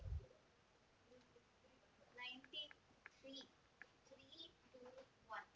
ಅರ್ಜಿ ನಮೂನೆಯನ್ನು ಕಚೇರಿ ಅಥವಾ ತಹಸೀಲ್ದಾರ್‌ ಜಗಳೂರು ತಾಲೂಕು ಕಚೇರಿಯಿಂದ ಪಡೆಯಬಹುದು